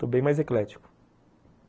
Estou bem mais eclético.